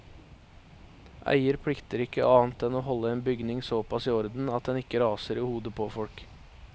Eier plikter ikke annet enn å holde en bygning såpass i orden at den ikke raser i hodet på folk.